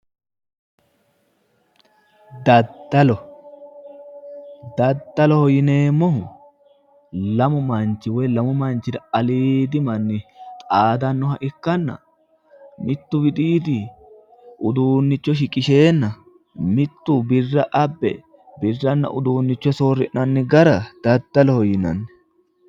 Daddalo, daddaloho yineemmohu lamu manchi woy lamu manchira aliidi manni xaadannoha ikkanna mittu widiidi uduunnicho shiqisheenna mittu birra abbe birranna uduunnicho soori'nanni gara daddaloho yinanni.